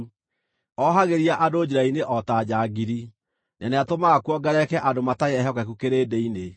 Oohagĩria andũ njĩra-inĩ o ta njangiri, na nĩatũmaga kuongerereke andũ matarĩ ehokeku kĩrĩndĩ-inĩ.